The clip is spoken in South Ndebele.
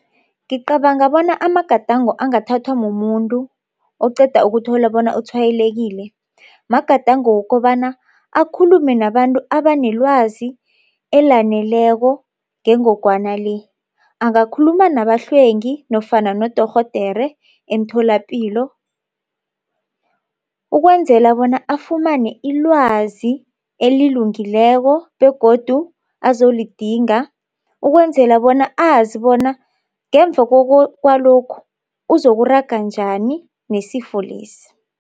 Ngicabanga bona amagadango angathathwa mumuntu oqeda ukuthola bona utshwayelekile magadango wokobana akhulume nabantu abanelwazi elaneleko ngengogwana le. Angakhuluma nabahlwengi nofana nodorhodere emtholapilo ukwenzela bona afumane ilwazi elilungileko begodu azolidinga ukwenzela bona azi bona ngemva kwalokhu uzokuraga njani nesifo lesi.